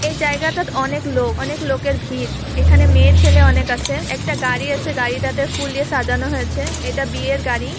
এই জায়গাটাত অনেক লোক অনেক লোকের ভিড় এখানে মেয়ে ছেলে অনেক আছে একটা গাড়ি আছে গাড়িটাতে ফুল দিয়ে সাজানো হয়েছে এটা বিয়ের গাড়ি।